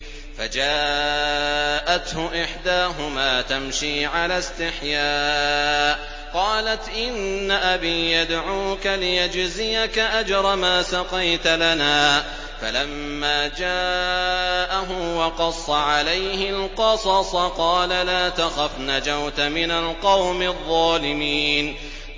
فَجَاءَتْهُ إِحْدَاهُمَا تَمْشِي عَلَى اسْتِحْيَاءٍ قَالَتْ إِنَّ أَبِي يَدْعُوكَ لِيَجْزِيَكَ أَجْرَ مَا سَقَيْتَ لَنَا ۚ فَلَمَّا جَاءَهُ وَقَصَّ عَلَيْهِ الْقَصَصَ قَالَ لَا تَخَفْ ۖ نَجَوْتَ مِنَ الْقَوْمِ الظَّالِمِينَ